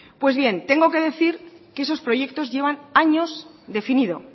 pues bien tengo que decir que esos proyectos llevan años definido